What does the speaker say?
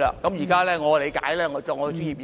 根據我的專業意